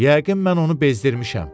Yəqin mən onu bezdirmişəm.